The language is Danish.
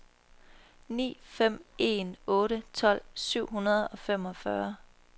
ni fem en otte tolv syv hundrede og femogfyrre